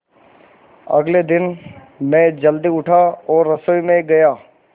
अगले दिन मैं जल्दी उठा और रसोई में गया